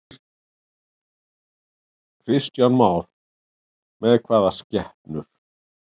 Kristján Már: Hvað með skepnur?